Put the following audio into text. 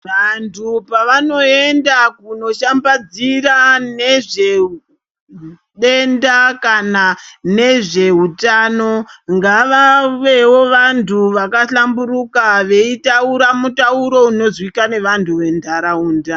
Vantu pavanoenda kunoshambadzira nezvedenda kana nezvehutano, ngavave vantu vaka hlamburuka veitaura mutauro unozwika ngevantu vemuntaraunda.